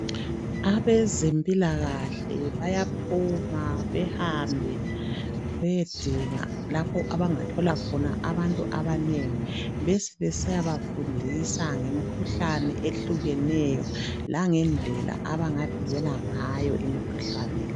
Abezempilakahle bayaphuma bahambe bayedinga lapho abangathola khona abantu abanengi bayeba fundisa ngemikhuhlane ehlukeneyo langendlela abangavikela ngayo imikhuhlane le